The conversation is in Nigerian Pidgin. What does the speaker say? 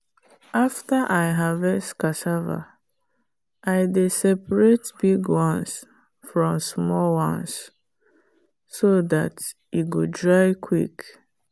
after i harvest cassava i dey separate big ones from small ones so dat e go dry quick.